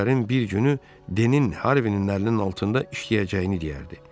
Günlərin bir günü Denin Harvinin əlinin altında işləyəcəyini deyərdi.